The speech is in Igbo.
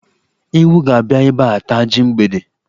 Ewu ga-abịa ebe a taa ji mgbede.